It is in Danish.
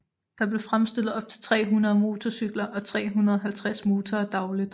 Der blev fremstillet op til 300 motorcykler og 350 motorer dagligt